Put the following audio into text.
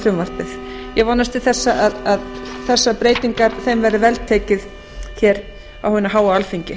í frumvarpið ég vonast til þess að þessum breytingum verði vel tekið á hinu háa alþingi